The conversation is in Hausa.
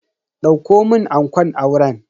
Dauko mun ankon auren.